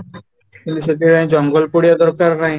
ହେଲେ ସେଥିପାଇଁ ଜଙ୍ଗଲ ପୋଡିବା ଦରକାର ନାହିଁ